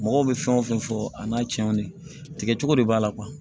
Mɔgɔw bɛ fɛn o fɛn fɔ a n'a tiɲɛw de tigɛ cogo de b'a la